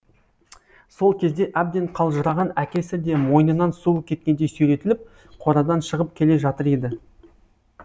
сол кезде әбден қалжыраған әкесі де мойнынан суы кеткендей сүйретіліп қорадан шығып келе жатыр еді